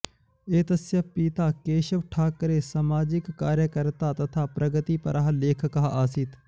एतस्य पिता केशवठाक्रे सामाजिककार्यकर्ता तथा प्रगतिपरः लेखकः आसीत्